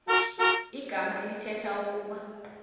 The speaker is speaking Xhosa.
igama elithetha ukuba